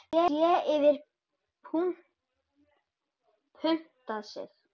Sú hefur puntað sig!